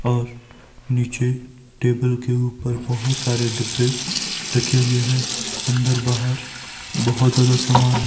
और नीचे टेबल के ऊपर बहोत सारे डब्बे रखे हुए हैं। अंदर बाहर बहोत ज्यादा समान है।